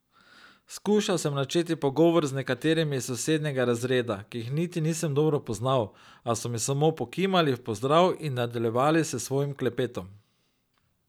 Skušal sem načeti pogovor z nekaterimi iz sosednjega razreda, ki jih niti nisem dobro poznal, a so mi samo pokimali v pozdrav in nadaljevali s svojim klepetom.